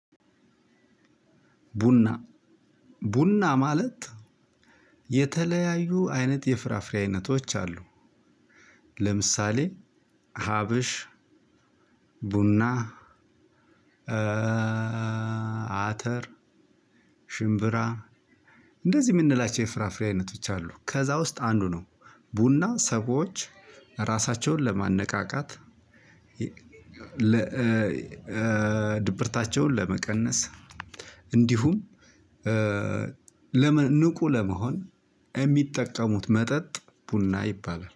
ቡና ቡና ማለት የተለያዩ አይነት የፍራፍሬ አይነቶች አሉ። ለምሳሌ ሀበሽ ቡና። አተር ሽምብራ እንደዚህ የምንላቸው የፍራፍሬ አይነቶች አሉ ከዛ ውስጥ አንዱ ነው። ቡና ሰዎች እራሳቸውን ለማነቃቃት። ድብርታቸውን ለመቀነስ እንዲሁም ለመንቁ ለመሆን የሚጠቀሙት መጠጥ ቡና ይባላል